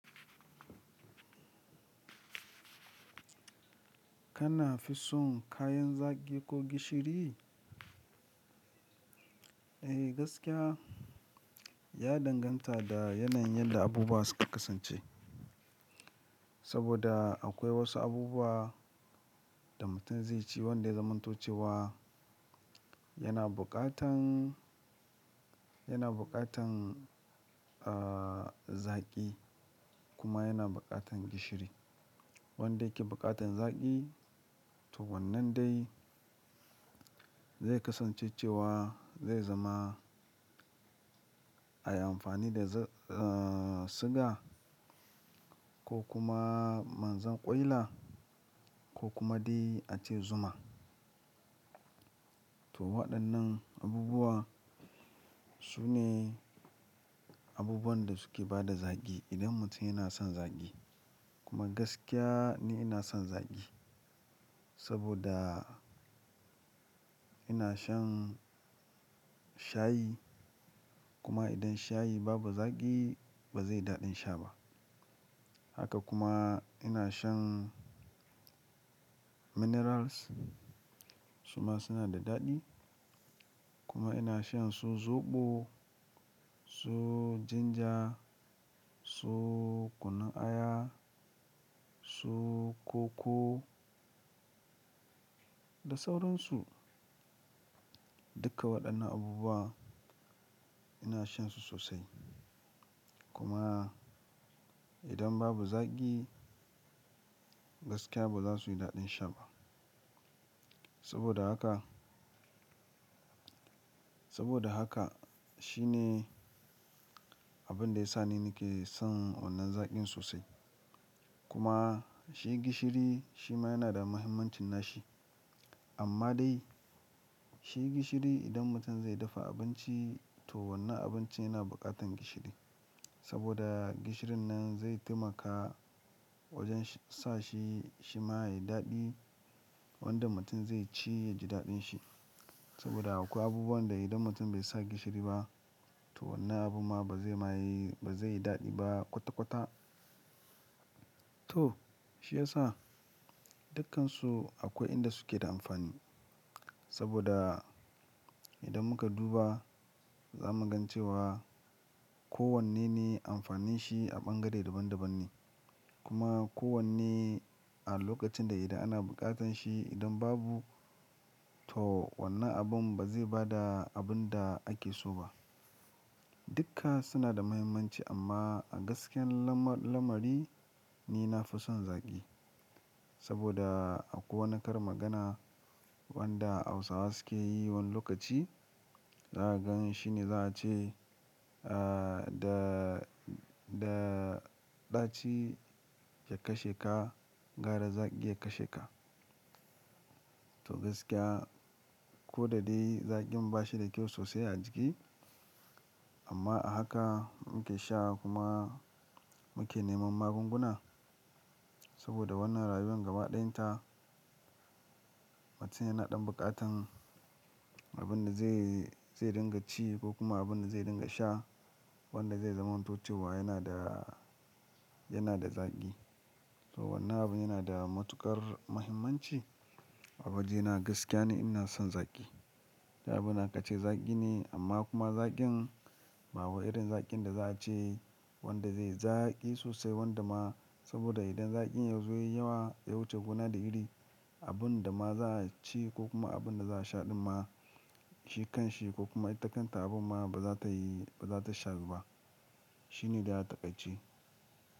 Kana fi son kayan zaki ko gishiri? Eh gaskiya, ya danganta da yanayin yadda abubuwa suka kasance. Saboda akwai wasu abubuwa da mutum zai ci wanda ya zamanto ce wa yana bukatan, yana bukatan, ah, zaki kuma yana bukatan gishiri. Wanda yake bukatan zaki to wannan dai zai kasance cewa zai zama a yi amfani da, ah, siga ko kuma manjan kwaila ko kuma dai ace zuma. To waɗannan abubuwa su ne abubuwan da suke bada zaki idan mutum yana son zaki. Kuma gaskiya ni ina son zaki saboda ina shan shayi. Kuma idan shayi babu zaki ba zai yi daɗin sha ba. Haka kuma ina shan minerals su ma suna da daɗi. Kuma ina shan su zoɓo, su jinja, su kunun aya, su koko da sauransu. Duka waɗannan abubuwa ina shan su sosai. Kuma idan babu zaki gaskiya ba za su yi daɗin sha ba. Saboda haka, saboda haka shi ne abin da yasa ni nake son wannan zaƙin sosai. Kuma shi gishiri shi ma yana da muhimmancin nashi. Amma dai shi gishiri idan mutum zai dafa abinci to wannan abinci yana bukatan gishiri. Saboda gishirin nan zai taimaka wajen sa shi, shi ma yayi daɗi wanda mutum zai ci ya ji daɗin shi. Saboda akwai abubuwan da idan mutum bai sa gishiri ba to wannan abu ma ba zai ma yi, ba zai yi daɗi ba kwata-kwata. To shi ya sa dukkansu akwai inda suke da amfani. Saboda idan muka duba za mu gan cewa ko wanne ne amfanin shi a bangare daban-daban ne. Kuma ko wanne a lokacin da idan ana bukatan shi idan babu to wannan abun ba zai bada abun da ake so ba. Dukka suna da muhimmanci amma a gaskiyar lamari ni nafi son zaki. Saboda akwai wani karin magana wanda Hausawa suke yi wani lokaci. Za a gan shi ne za a ce, ah, da, da ɗaci ya kashe ka gwara zaki ya kashe ka. To gaskiya ko da dai zakin ba shi da kyau sosai a jiki amma a haka muke sha kuma muke neman magunguna. Saboda wannan rayuwar gaba ɗayanta mutum yana ɗan bukatan abin da zai, zai dinga ci ko kuma abin da zai dinga sha wanda zai zamanto ce wa yana da, yana da zaki. To wannan abun yana da matuƙar muhimmanci a waje na gaskiya ni ina son zaki. Du abunda aka ce zaki ne amma kuma zakin ba wa irin zakin da za a ce wanda zai yi zaki sosai wanda ma saboda idan zakin yazo yayi yawa ya wuce gona da iri abunda ma za a ci ko kuma abunda za a sha ɗin ma shi kanshi ko kuma ita kanta abun ma ba za ta yi, ba za ta shawu ba. Shi ne dai a taƙaici.